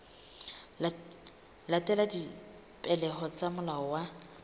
latela dipehelo tsa molao wa